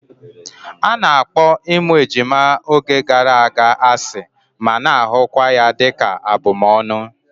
A na-akpọ ịmụ ejima oge gara aga asị ma na-ahụkwa ya dịka ihe abumọọnu